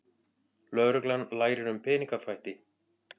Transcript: Lögreglan lærir um peningaþvætti